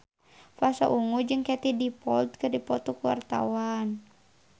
Pasha Ungu jeung Katie Dippold keur dipoto ku wartawan